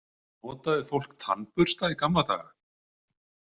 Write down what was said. Notaði fólk tannbursta í gamla daga?